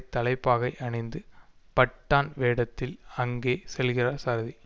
தலைப்பாகை அணிந்து பட்டான் வேடத்தில் அங்கே செல்கிறார் சாரதி